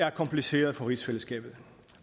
er kompliceret for rigsfællesskabet